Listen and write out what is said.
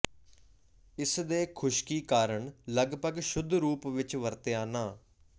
ਇਸ ਦੇ ਖੁਸ਼ਕੀ ਕਾਰਨ ਲਗਭਗ ਸ਼ੁੱਧ ਰੂਪ ਵਿਚ ਵਰਤਿਆ ਨਾ